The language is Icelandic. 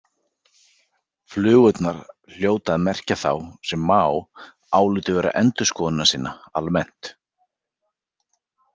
Flugurnar hljóta að merkja þá, sem Maó álítur vera endurskoðunarsinna almennt.